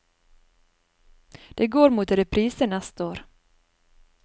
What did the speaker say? Det går mot reprise neste år.